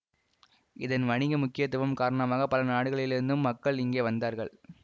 இதன் வணிக முக்கியத்துவம் காரணமாக பல நாடுகளிலிருந்தும் மக்கள் இங்கே வந்தார்கள்